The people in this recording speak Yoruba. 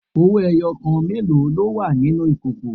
Owó ẹyọ kan mélòó ló wà nínú ìkòkò?